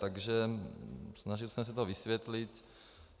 Takže snažil jsem se to vysvětlit.